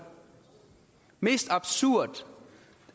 mest absurd